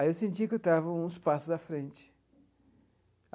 Aí eu sentia que eu estava uns passos à frente.